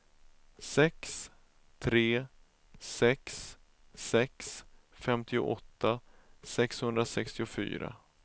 sex tre sex sex femtioåtta sexhundrasextiofyra